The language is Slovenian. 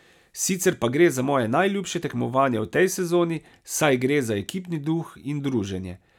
Sicer pa gre za moje najljubše tekmovanje v tej sezoni, saj gre za ekipni duh in druženje.